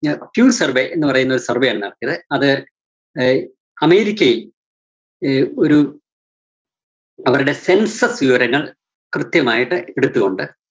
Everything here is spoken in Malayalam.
q survey എന്നു പറയുന്ന ഒരു survey ആണ് നടത്തിയത്. അത് അഹ് അമേരിക്കയില്‍ അഹ് ഒരു അവരുടെ census വിവരങ്ങള്‍ കൃത്യമായിട്ട് എടുത്തുകൊണ്ട്